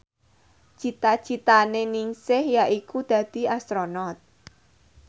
cita citane Ningsih yaiku dadi Astronot